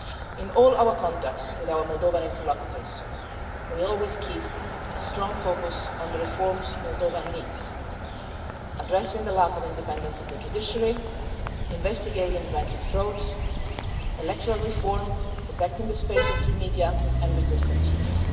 In all our contacts with our Moldovan interlocutors, we always keep a strong focus on the reforms Moldova needs addressing the lack of independence of the judiciary, investigating the banking frauds, looking at electoral reform, protecting the space for free media, and we could continue.